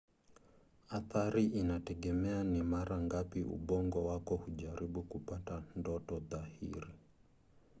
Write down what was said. athari inategemea ni mara ngapi ubongo wako hujaribu kupata ndoto dhahiri